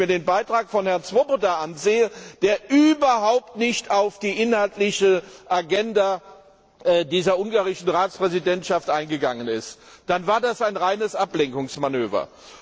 Aber wenn ich mir den Beitrag von Herrn Swoboda ansehe, der überhaupt nicht auf die inhaltliche Agenda dieser ungarischen Ratspräsidentschaft eingegangen ist, dann war das ein reines Ablenkungsmanöver.